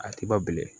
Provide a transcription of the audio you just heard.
A ti ba bilen